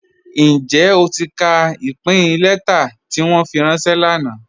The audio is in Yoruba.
Njẹ́ o ti ka ipin lẹ̀tà ti wọn fi ranṣẹ̀ lánà?